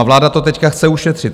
A vláda to teď chce ušetřit.